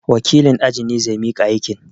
Wakilin ajin ne zai miƙa aikin.